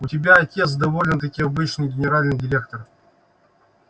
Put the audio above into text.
у тебя отец довольно-таки обычный генеральный директор